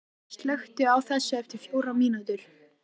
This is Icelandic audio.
Ásgerður, slökktu á þessu eftir fjórar mínútur.